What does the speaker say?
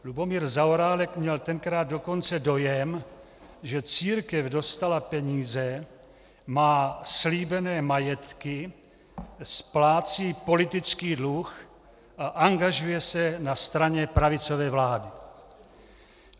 Lubomír Zaorálek měl tenkrát dokonce dojem, že církev dostala peníze, má slíbené majetky, splácí politický dluh a angažuje se na straně pravicové vlády.